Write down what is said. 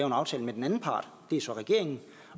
en aftale med den anden part det er så regeringen